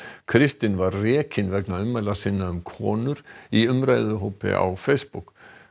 kristinn var rekinn vegna ummæla sinna um konur í umræðuhóp á Facebook